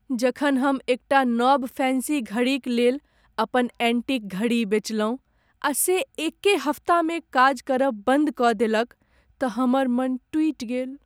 जखन हम एकटा नब फैन्सी घड़ीक लेल, अपन ऐन्टीक घड़ी बेचलहुँ आ से एके हप्तामे काज करब बन्द कऽ देलक तँ हमर मन टूटि गेल।